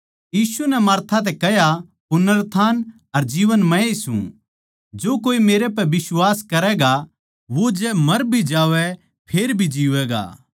यीशु नै उस ताहीं कह्या पुनरुत्थान अर जीवन मै ए सूं जो कोए मेरै पै बिश्वास करैगा वो जै मर भी जावै फेर भी जिवैगा